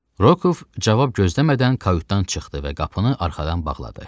Rokoov cavab gözləmədən kayutdan çıxdı və qapını arxadan bağladı.